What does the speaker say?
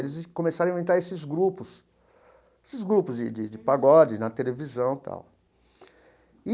Eles começaram a inventar esses grupos esses grupos de de de pagode na televisão e tal e.